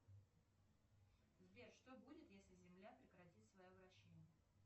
сбер что будет если земля прекратит свое вращение